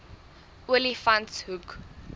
olifantshoek